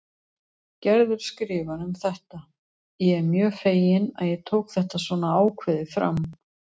Gerður skrifar um þetta: Ég er mjög fegin að ég tók þetta svona ákveðið fram.